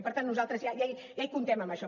i per tant nosaltres ja hi comptem amb això